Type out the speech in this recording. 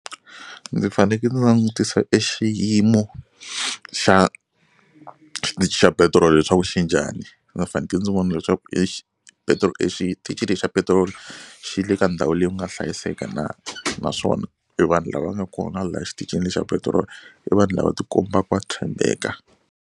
Ndzi faneke ndzi langutisa e xiyimo xa xitichi xa petirolo leswaku xi njhani. Ndzi faneke ndzi vona leswaku e xi petiroli exitichi lexi xa petiroli xi le ka ndhawu leyi ku nga hlayiseka na naswona e vanhu lava nga kona laha exitichini xa petirolo i vanhu lava ti kombaka va tshembeka.